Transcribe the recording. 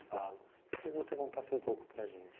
Falam. Eu queria que você contasse um pouco para a gente.